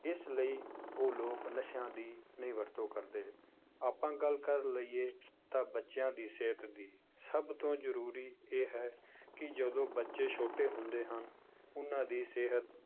ਇਸ ਲਈ ਉਹ ਲੋਕ ਨਸ਼ਿਆਂ ਦੀ ਨਹੀਂ ਵਰਤੋਂ ਕਰਦੇ, ਆਪਾਂ ਗੱਲ ਕਰ ਲਈਏ ਤਾਂ ਬੱਚਿਆਂ ਦੀ ਸਿਹਤ ਦੀ ਸਭ ਤੋਂ ਜ਼ਰੂਰੀ ਇਹ ਹੈ ਕਿ ਜਦੋਂ ਬੱਚੇ ਛੋਟੇ ਹੁੰਦੇ ਹਨ, ਉਹਨਾਂ ਦੀ ਸਿਹਤ